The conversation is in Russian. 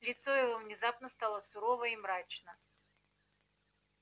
лицо его внезапно стало сурово и мрачно